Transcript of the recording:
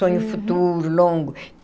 Sonho futuro, longo.